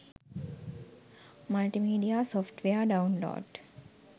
multimedia software download